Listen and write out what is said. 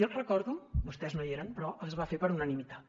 jo recordo vostès no hi eren però que es va fer per unanimitat